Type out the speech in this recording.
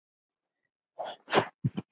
Hvað varð um það?